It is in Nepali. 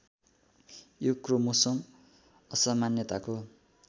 यो क्रोमोसोम असामान्यताको